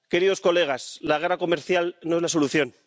Queridos colegas, la guerra comercial no es la solución.